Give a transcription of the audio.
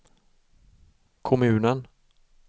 kommunen